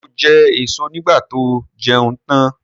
Ṣé ó jẹ èso nígbà tó jẹun tan?